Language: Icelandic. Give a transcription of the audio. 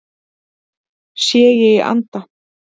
Sé ég í anda